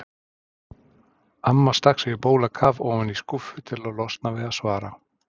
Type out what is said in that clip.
Amma stakk sér á bólakaf ofan í skúffu til að losna við að svara.